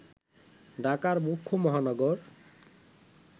ঢাকার মুখ্য মহানগর